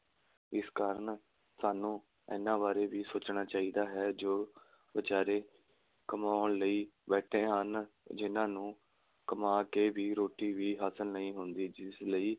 ਇਸ ਕਾਰਨ ਸਾਨੂੰ ਇਹਨਾ ਬਾਰੇ ਵੀ ਸੋਚਣਾ ਚਾਹੀਦਾ ਹੈ, ਜੋ ਵਿਚਾਰੇ ਕਮਾਉਣ ਲਈ ਬੈਠੇ ਹਨ ਜਿੰਨ੍ਹਾ ਨੂੰ ਕਮਾ ਕੇ ਵੀ ਰੋਟੀ ਵੀ ਹਾਸਿਲ ਨਹੀਂਂ ਹੁੰਦੀ, ਜਿਸ ਲਈ